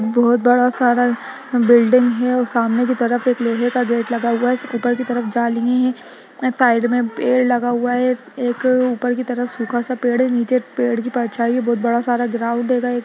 बहुत बड़ा सारा बिल्डिंग है और सामने की तरफ एक लोहे का गेट लगा हुआ ऊपर के तरफ जाली है साइड में पेड़ लगा हुआ है एक अ ऊपर की तरफ सूखा सा पेड़ है नीचे एक पेड़ का परछाई बहुत बड़ा सारा ग्राउंड हेंगा एक--